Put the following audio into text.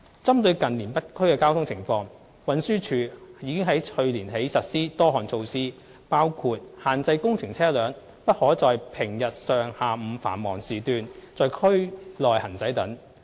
針對近年北區的交通情況，運輸署自去年起已實施多項措施，包括限制工程車輛不可在平日上、下午繁忙時段在區內行駛等。